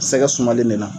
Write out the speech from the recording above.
Sɛgɛ sumalen de la